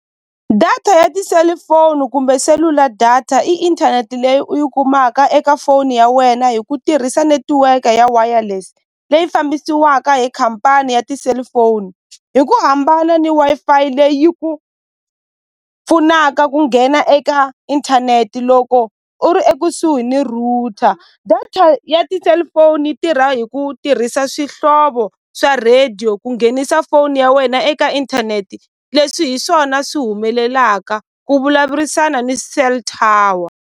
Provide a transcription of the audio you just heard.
Data ya tiselifoni kumbe selula data i inthanete leyi u yi kumaka eka foni ya wena hi ku tirhisa netiweke ya wireless leyi fambisiwaka hi khampani ya ti-cellphone hi ku hambana ni Wi-Fi leyi yi ku pfunaka ku nghena eka inthaneti loko u ri ekusuhi ni router data ya ti-cellphone yi tirha hi ku tirhisa swihlovo swa radio ku nghenisa foni ya wena eka inthanete leswi hi swona swi humelelaka ku vulavurisana ni cell tower.